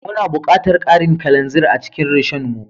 Muna buƙatar karin kalanzir a cikin Rishon mu